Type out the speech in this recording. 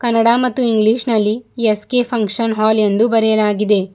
ಕನ್ನಡ ಮತ್ತು ಇಂಗ್ಲೀಷ್ ನಲ್ಲಿ S K function hall ಎಂದು ಬರೆಯಲಾಗಿದೆ.